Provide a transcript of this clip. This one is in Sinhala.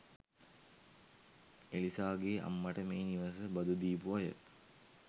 එලිසාගෙ අම්මට මේ නිවස බදු දීපු අය